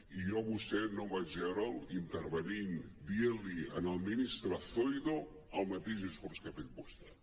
i jo a vostè no vaig veure’l intervenint dient·li al ministre zoido el mateix discurs que ha fet vostè